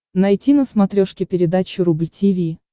найти на смотрешке передачу рубль ти ви